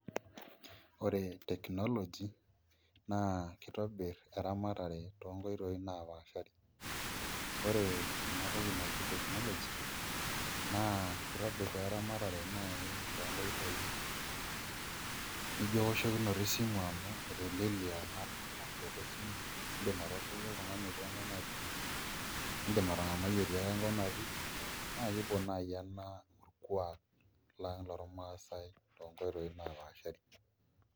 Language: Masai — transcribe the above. Ore technology naa kitobiri eramatare tonkoitoi napaasha ,ore enatoki naji technology na kitobir eramatare tonkoitoi nijo ewoshokino esimu amu etelelia eoshoto esimu indim atooshoki oltungani otii ewoi natii ,indim atangamai etii enkop natii nakimbung nai ena orkuak lang lormasaai tonkoitoi napaashari.